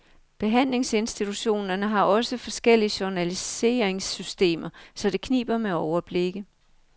Behandlingsinstitutionerne har også forskellige journaliseringssystemer, så det kniber med overblikket.